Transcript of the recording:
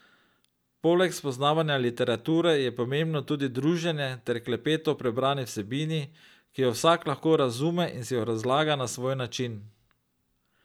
Poleg spoznavanja literature je pomembno tudi druženje ter klepet o prebrani vsebini, ki jo vsak lahko razume in si jo razlaga na svoj način.